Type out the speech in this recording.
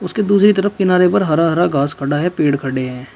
इसके दूसरी तरफ किनारे पर हरा हरा घास खड़ा है पेड़ खड़े हैं।